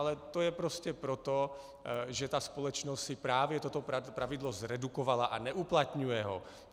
Ale to je prostě proto, že ta společnost si právě toto pravidlo zredukovala a neuplatňuje ho.